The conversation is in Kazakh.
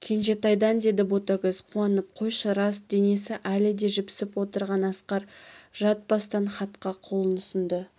кенжетайдан деді ботагөз қуанып қойшы рас денесі әлі де жіпсіп отырған асқар жатпастан хатқа қолын ұсынды